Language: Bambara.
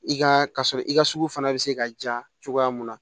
I ka sɔrɔ i ka sugu fana bɛ se ka ja cogoya mun na